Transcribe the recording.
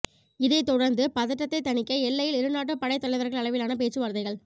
இதைத் தொடர்ந்து பதற்றத்தை தணிக்க எல்லையில் இரு நாட்டு படைத் தலைவர்கள் அளவிலான பேச்சுவார்த்தைகள்